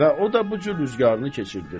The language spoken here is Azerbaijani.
Və o da bu cür rüzgarını keçirdir.